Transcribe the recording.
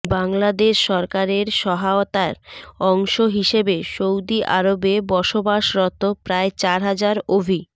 বাংলাদেশ সরকারের সহায়তার অংশ হিসেবে সৌদি আরবে বসবাসরত প্রায় চার হাজার অভি